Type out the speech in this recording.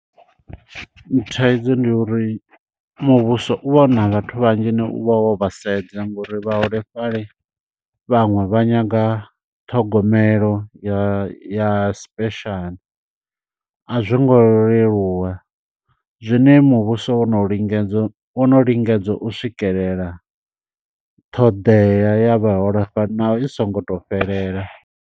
Thaidzo ndi uri muvhuso u vha una vhathu vhanzhi une u vha wo vha sedza, ngo uri vhaholefhali vhaṅwe vha nyaga ṱhogomelo ya ya special. A zwo ngo leluwa, zwine muvhuso wo no lingedzwa, wo no lingedza u swikelela ṱhoḓea ya vhaholefhali naho i songo to fhelela.